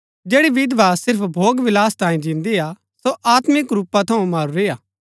जैड़ी विधवा सिर्फ भोगविलास तांये जिन्दी हा सो आत्मिक रूपा थऊँ मरूरी हा